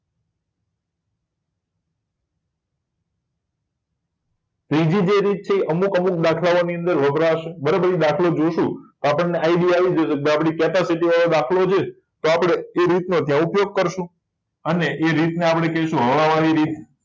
બીજી જે રીત છે અમુક અમુક દાખલા ઓં ની અંદર વપરાશે બરાબર દાખલો જોઈશું તો આપણને idea આવી જશે કે ભાઈ આપડી capacity વાળો દાખલો છે તો આપડે એ રીત નો ત્યાં ઉપયોગ કરશુંઅને એ રીતે ને આપડે કહીશું હવા વાળી રીત